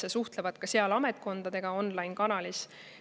Nad suhtlevad ka ametkondadega online-kanalis.